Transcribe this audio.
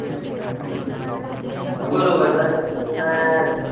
म्हणून कसं कि त्यांना